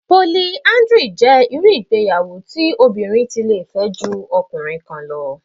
Poliáńdírì jẹ́ irú ìgbéyàwó tí obìnrin tí lè fẹ́ ju ọkùnrin kan lọ